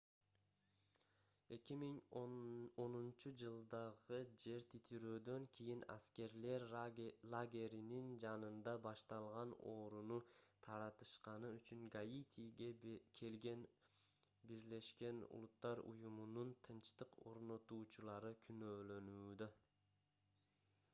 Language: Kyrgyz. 2010-жылдагы жер титирөөдөн кийин аскерлер лагеринин жанында башталган ооруну таратышканы үчүн гаитиге келген буунун тынчтык орнотуучулары күнөөлөнүүдө